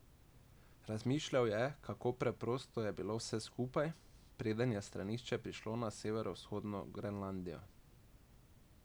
Razmišljal je, kako preprosto je bilo vse skupaj, preden je stranišče prišlo na severovzhodno Grenlandijo.